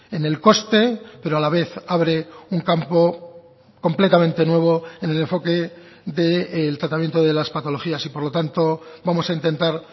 en el coste pero a la vez abre un campo completamente nuevo en el enfoque del tratamiento de las patologías y por lo tanto vamos a intentar